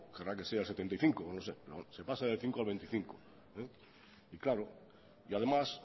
querrá que sea de setenta y cinco no sé se pasa del cinco al veinticinco y claro además